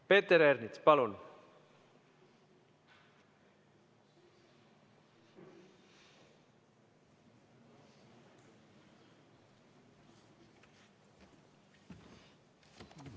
Peeter Ernits, palun!